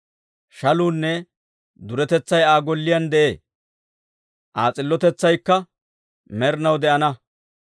Shaluunne duretetsay Aa golliyaan de'ee; Aa s'illotetsaykka med'inaw de'ana.